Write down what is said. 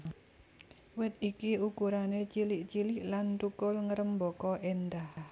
Wit iki ukurané cilik cilik lan thukul ngrêmbaka éndah